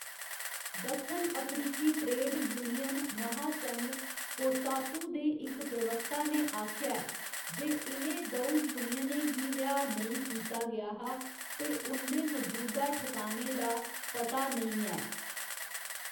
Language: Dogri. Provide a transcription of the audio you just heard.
दक्खन अफ्रीकी ट्रेड यूनियन महासंघ कोसातु दे इक प्रवक्ता ने आखेआ ऐ जे इ'नें द'ऊ यूनियनें गी रिहा नेईं कीता गेआ हा ते उं'दे मौजूदा ठकाने दा पता नेईं ऐ।